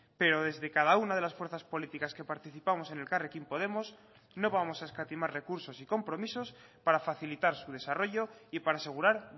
pero desde cada una de las fuerzas políticas que participamos en elkarrekin podemos no vamos a escatimar recursos y compromisos para facilitar su desarrollo y para asegurar